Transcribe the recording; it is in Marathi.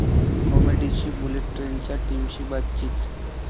कॉमेडीची बुलेट ट्रेन'च्या टीमशी बातचीत